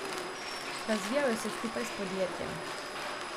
Razvijajo se skupaj s podjetjem.